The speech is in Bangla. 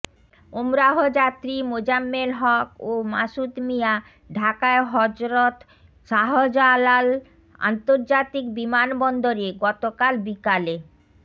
ওমরাহ যাত্রী মোজাম্মেল হক ও মাসুদ মিয়া ঢাকায় হযরত শাহজালাল আন্তর্জাতিক বিমানবন্দরে গতকাল বিকালে